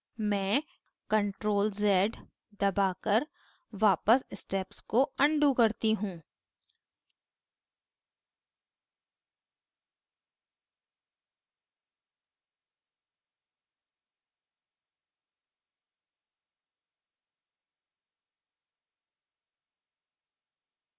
मैं ctrl + z दबाकर वापस steps को अनडू करती हूँ